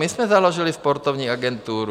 My jsme založili Sportovní agenturu.